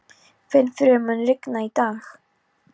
Finnfríður, mun rigna í dag?